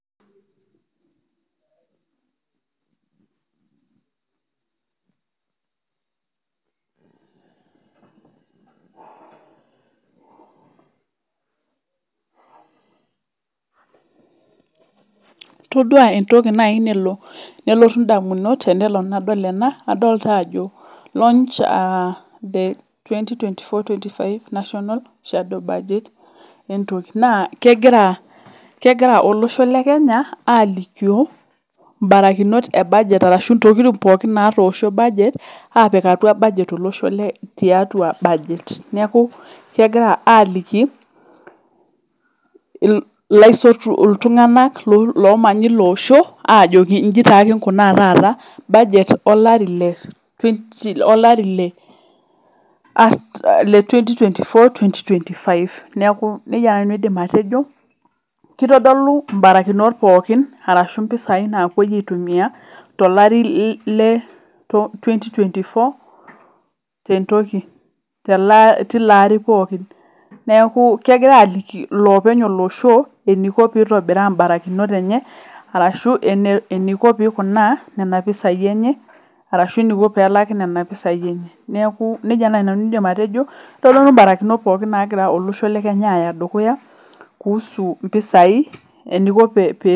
todua naaji entoki nalo nelotu ndamunot tenadol ena naa edol Ajo looch the2024/25 shadoo baaget naa kegira olosho le Kenya alikio barakinot ebageet arashu ntokitin pookin natosho apik atuaa budget tolosho tiatua budget neeku kegira aliki iltung'ana loomanya eloosho ajoki eji taa kingunaa taata budget olari lee 2024/2025 neeku nejia naaji nanu aidim atejo kitodolu mbarakinot pookin arashu mpisai naapuoi aitumia tolari lee 2024 tenilo atii pookin neeku kegirai aliki elopeny olosho eniko peitobiraa barakinot enye arashu enikoo peikuna Nena pisaai enye arashu eniko pelaki Nena pisai enye neeku nejia naaji nanu aidim atejo kitodolu mbarakinot pookin nagira olosho le Kenya Aya dukuya kuhusu mpisaai